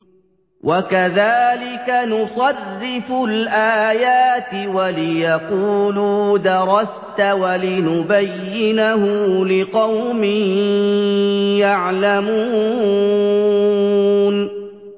وَكَذَٰلِكَ نُصَرِّفُ الْآيَاتِ وَلِيَقُولُوا دَرَسْتَ وَلِنُبَيِّنَهُ لِقَوْمٍ يَعْلَمُونَ